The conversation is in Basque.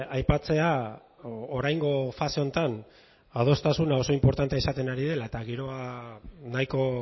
aipatzea oraingo fase honetan adostasuna oso inportantea izaten ari dela eta giroa nahiko